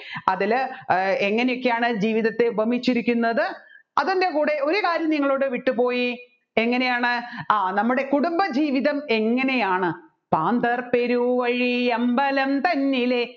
അതിൽ ഏർ എങ്ങനെയൊക്കെയാണ് ജീവിതത്തെ ഉപമിച്ചിരിക്കുന്നത് അതിൻെറ കൂടെ ഒരുകാര്യം നിങ്ങളോട് വിട്ടുപോയി എങ്ങനെയാണു ആ നമ്മുടെ കുടുംബജീവിതം എങ്ങനെയാണു താന്ത്രർ പെരുവഴി അമ്പലം തന്നിലെ